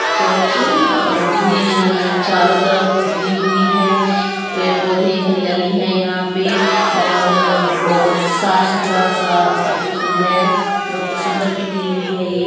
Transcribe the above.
Church है और चारो तरफ ग्रीन - ग्रीन है| पेड़-पौधे हरियाली है यहाँ पे और बहुत साफ़-सुथरा सा आगे फील्ड है बहुत सुंदर पीक ली हुई है ये।